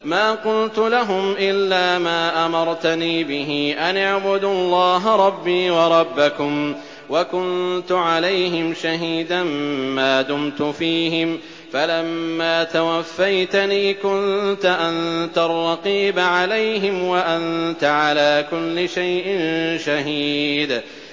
مَا قُلْتُ لَهُمْ إِلَّا مَا أَمَرْتَنِي بِهِ أَنِ اعْبُدُوا اللَّهَ رَبِّي وَرَبَّكُمْ ۚ وَكُنتُ عَلَيْهِمْ شَهِيدًا مَّا دُمْتُ فِيهِمْ ۖ فَلَمَّا تَوَفَّيْتَنِي كُنتَ أَنتَ الرَّقِيبَ عَلَيْهِمْ ۚ وَأَنتَ عَلَىٰ كُلِّ شَيْءٍ شَهِيدٌ